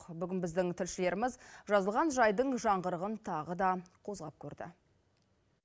бүгін біздің тілшілеріміз жазылған жайдың жаңғырығын тағы да қозғап көрді